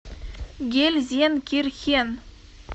гельзенкирхен